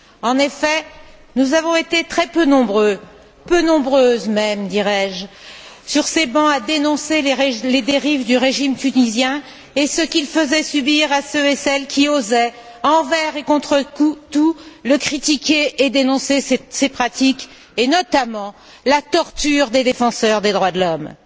En effet, nous avons été très peu nombreux peu nombreuses même, dirais je sur ces bancs à dénoncer les dérives du régime tunisien et ce qu'il faisait subir à ceux et celles qui osaient, envers et contre tout, le critiquer et dénoncer ses pratiques et notamment la torture des défenseurs des droits de l'homme.